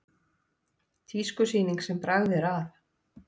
Tískusýning sem bragð er að